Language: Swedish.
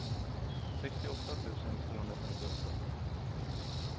sextioåtta tusen tvåhundrafemtioåtta